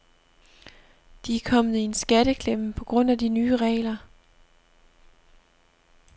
De er kommet i en skatteklemme på grund af de nye regler.